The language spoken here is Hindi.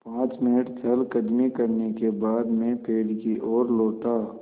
पाँच मिनट चहलकदमी करने के बाद मैं पेड़ की ओर लौटा